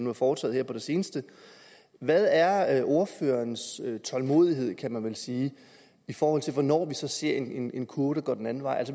er foretaget her på det seneste hvad er er ordførerens tålmodighed kan man vel sige i forhold til hvornår vi ser en en kurve der går den anden vej